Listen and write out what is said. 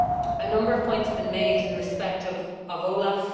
A number of points have been made in respect of OLAF.